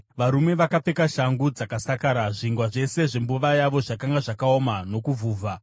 Varume vakapfeka shangu dzakasakara. Zvingwa zvose zvembuva yavo zvakanga zvakaoma nokuvhuvha.